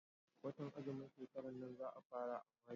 Watan azumin shekaran nan za fara a Mayu.